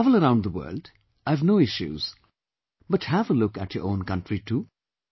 You travel around the world, I have no issues but have a look at your own country too